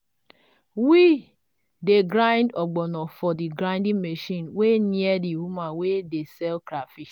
we dey grind ogbono for the grinding machine wey near the woman wey dey sell crafish.